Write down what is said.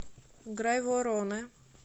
грайвороне